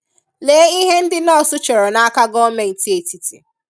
Lee ihe ndị nọọsụ chọrọ n'aka gọọmenti etiti